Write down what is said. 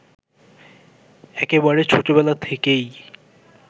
একেবারে ছোটবেলা থেকেই